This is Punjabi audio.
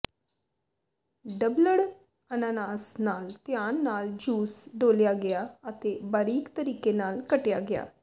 ਡਬਲਡ ਅਨਾਨਾਸ ਨਾਲ ਧਿਆਨ ਨਾਲ ਜੂਸ ਡੋਲ੍ਹਿਆ ਗਿਆ ਅਤੇ ਬਾਰੀਕ ਤਰੀਕੇ ਨਾਲ ਕੱਟਿਆ ਗਿਆ